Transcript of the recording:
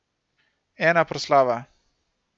Ena proslava.